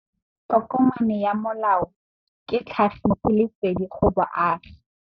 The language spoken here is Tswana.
Tokomane ya molao ke tlhagisi lesedi go baagi.